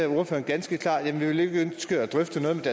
ordføreren ganske klart jamen vi vil ikke ønske at drøfte noget med